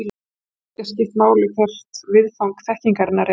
Það getur líka skipt máli hvert viðfang þekkingarinnar er.